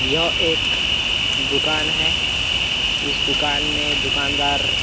यह एक दुकान है। इस दुकान में दुकानदार --